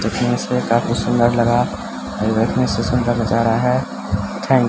देखने से काफी सुंदर लगा है ये देखने से सुंदर नजारा है थेंक --